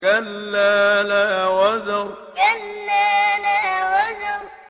كَلَّا لَا وَزَرَ كَلَّا لَا وَزَرَ